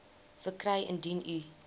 verkry indien u